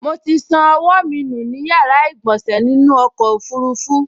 Mo ti ṣan ọwọ́ mi nù ní yàrá ìgbọ̀sẹ̀ nínú ọkọ̀ ọfurufú